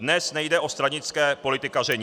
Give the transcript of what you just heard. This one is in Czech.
Dnes nejde o stranické politikaření.